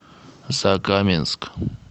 закаменск